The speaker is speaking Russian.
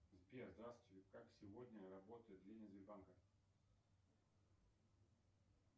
сбер здравствуйте как сегодня работают отделения сбербанка